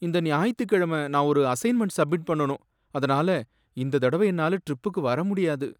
இந்த ஞாயித்துக்கிழமை நான் ஒரு அசைன்மென்ட் சப்மிட் பண்ணனும். அதனால, இந்த தடவ என்னால ட்ரிப்புக்கு வர முடியாது.